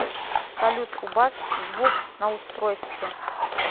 салют убавь звук на устройстве